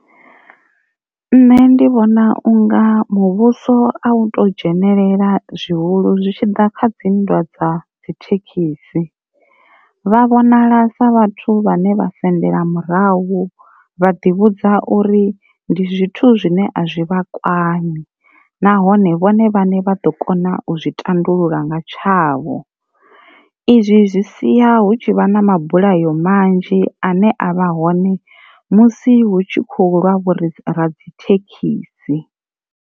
Nṋe ndi vhona unga muvhuso a u to dzhenelela zwihulu zwi tshiḓa kha dzi nndwa dza dzithekhisi, vha vhonala sa vhathu vhane vha sendela murahu vha ḓi vhudza uri ndi zwithu zwine a zwi vha kwami nahone vhone vhane vha ḓo kona u zwi tandululwa nga tshavho, izwi zwi siya hu tshi vha na mabulayo manzhi ane avha hone musi hu tshi kho u lwa vhori ra dzi thekhisi.